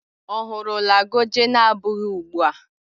Ọ hụrụla goje na abụghị ugbu a?